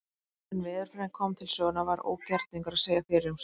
Áður en veðurfræðin kom til sögunnar var ógerningur að segja fyrir um slíkt.